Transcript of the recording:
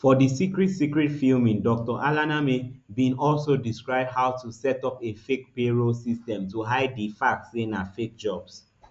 for di secret secret filming dr alaneme bin also describe how to set up a fake payroll system to hide di fact say na fake jobs